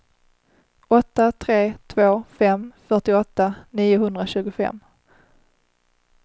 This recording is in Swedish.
åtta tre två fem fyrtioåtta niohundratjugofem